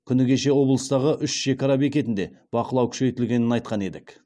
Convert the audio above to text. күні кеше облыстағы үш шекара бекетінде бақылау күшейтілгенін айтқан едік